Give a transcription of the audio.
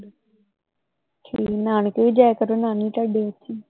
ਨਾਨਕੇ ਵੀ ਜਾਇਆ ਕਰੋ ਨਾਨੀ ਤੁਹਾਡੀ ਅੱਛੀ ਹੈ